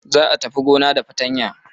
Za a tafi gona da fatanya.